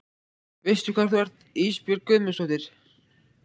Veistu hvar þú ert Ísbjörg Guðmundsdóttir?